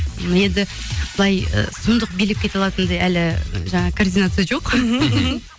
енді былай ы сұмдық билеп кете алатындай әлі жаңағы координация жоқ